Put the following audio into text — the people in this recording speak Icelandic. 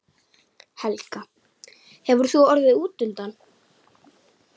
Helga: Hefur þú orðið útundan?